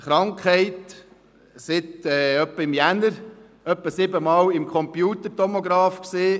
Krankheit seit etwa Januar und etwa siebenmal im Computertomografen gewesen.